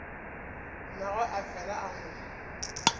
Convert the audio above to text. mmagwe a fela a mo